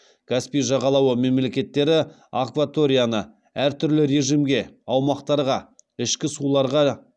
каспий жағалауы мемлекеттері акваторияны әртүрлі режимге аумақтарға ішкі суларға